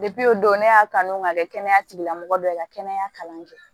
o don ne y'a kanu k'a kɛ kɛnɛya tigilamɔgɔ dɔ ye ka kɛnɛya kalan kɛ